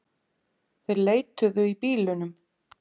Þeir leituðu í bílunum